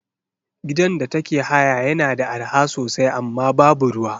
Gidan da take haya yana da arha sosai amma babu ruwa.